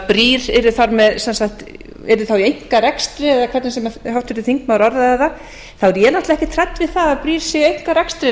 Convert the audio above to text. brýr yrðu þá í einkarekstri eða hvernig sem háttvirtur þingmaður orðaði það þá er ég náttúrlega ekkert hrædd við það að brýr séu í einkarekstri